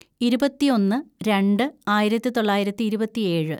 ഇരുപത്തിയൊന്ന് രണ്ട് ആയിരത്തിതൊള്ളായിരത്തി ഇരുപത്തിയേഴ്‌